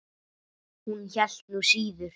Hún hélt nú síður.